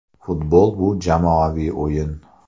Futbol bu – jamoaviy o‘yin.